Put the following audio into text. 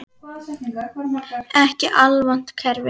Ekki alvont kerfi.